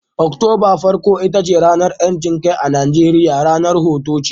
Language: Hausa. Oktoba farko ita ce ranar 'yancin kai a Najeriya, ranar hutu ce